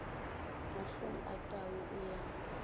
mahlong a tau o ya